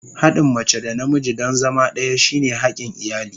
Haɗin mace da namiji don zama ɗaya shine hakin iyali.